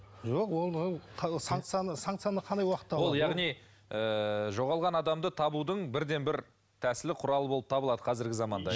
жоқ ол санкцияны санкцияны қандай жоғалған адамды табудың бірден бір тәсілі құралы болып табылады қазіргі заманда